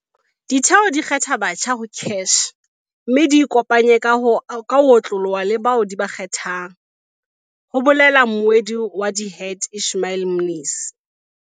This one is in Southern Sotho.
"Ditheo di kgetha batjha ho CACH mme di ikopanye ka ho otloloha le bao di ba kgethang," ho bolela mmuedi wa DHET Ishmael Mnisi.